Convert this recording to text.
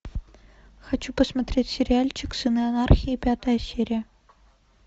хочу посмотреть сериальчик сыны анархии пятая серия